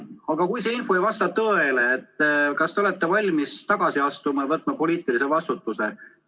Aga kui see info ei vasta tõele, siis kas te olete valmis tagasi astuma ja võtma poliitilise vastutuse?